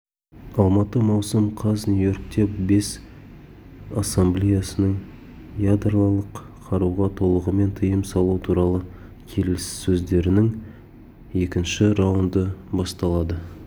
алматы маусым қаз нью-йоркте бас ассамблеясының ядролық қаруға толығымен тыйым салу туралы келіссөздерінің екінші раунды басталады